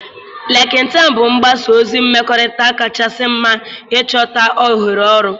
Lịnktịn bụ mgbasa ozi mmekọrịta kachasị mma ịchọta ohere ọrụ.